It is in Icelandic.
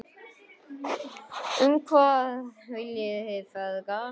Og hvað viljið þið feðgar?